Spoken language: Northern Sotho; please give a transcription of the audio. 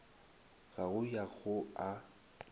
a go ya go a